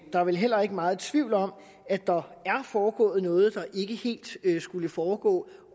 der er vel heller ikke meget tvivl om at der er foregået noget der ikke helt skulle foregå